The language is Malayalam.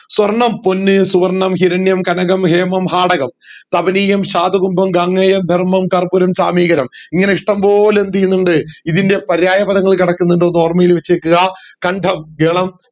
സ്വർണം പൊന്ന് സുവർണം ഹിരണ്യം കനകം ഹേമം ഹാടകം തപാനീയം ശാധുകുംഭം ഗംഗേയം ധർമം കർപ്പുരം സ്വമീകരമിങ്ങനെ ഇഷ്ടംപോലെ എന്ത് ചെയ്യുന്നുണ്ട് ഇതിൻറെ പര്യായപദങ്ങൾ കെടക്കുന്നുണ്ട് ഒന്ന് ഓർമ്മയിൽ വെച്ചേക്ക്‌ആ കണ്ഡം ഇളം